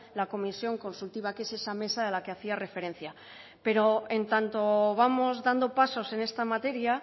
la comisión consultiva que es esa mesa a la que hacía referencia pero en tanto vamos dando pasos en esta materia